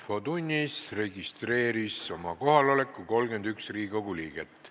Kohaloleku kontroll Infotunnis registreeris oma kohaloleku 31 Riigikogu liiget.